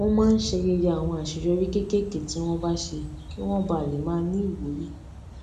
wón máa ń ṣayẹyẹ àwọn àṣeyọrí kéékèèké tí wón bá ṣe kí wón bà lè máa ní ìwúrí